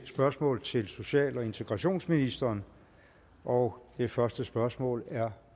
spørgsmål til social og integrationsministeren og det første spørgsmål er